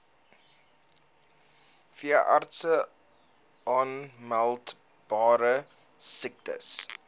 veeartse aanmeldbare siektes